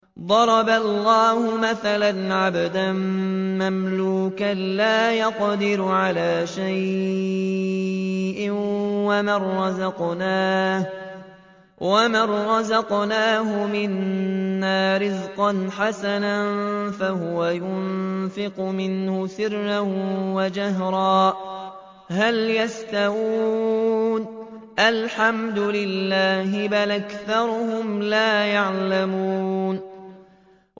۞ ضَرَبَ اللَّهُ مَثَلًا عَبْدًا مَّمْلُوكًا لَّا يَقْدِرُ عَلَىٰ شَيْءٍ وَمَن رَّزَقْنَاهُ مِنَّا رِزْقًا حَسَنًا فَهُوَ يُنفِقُ مِنْهُ سِرًّا وَجَهْرًا ۖ هَلْ يَسْتَوُونَ ۚ الْحَمْدُ لِلَّهِ ۚ بَلْ أَكْثَرُهُمْ لَا يَعْلَمُونَ